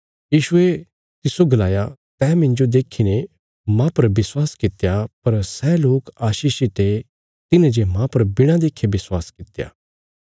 यीशुये तिस्सो गलाया तैं मिन्जो देखीने मेरे पर विश्वास कित्या पर सै लोक आशीषित ये तिन्हे जे मांह पर बिणा देखे विश्वास कित्या